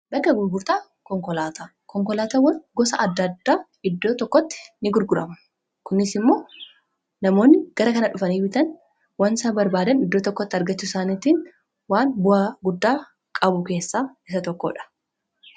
Bakka gurgurtaa konkolaataa konkolaataawwan gosa adda addaa iddoo tokkotti ni gurguramu. Kunis immoo namoonni gara kana dhufanii bitan waanta barbaadan iddoo tokkotti argachuu isaaniitiin waan bu'aa guddaa qabu keessaa isa tokkoodha.